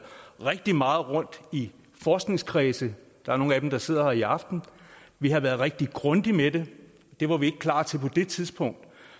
rigtig meget rundt i forskningskredse der er nogle af dem der sidder her i aften vi har været rigtig grundige med det det var vi ikke klar til på det tidspunkt